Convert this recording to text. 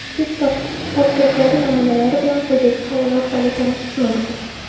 Test topshiriqlari namunalari bilan quyidagi havola orqali tanishish mumkin.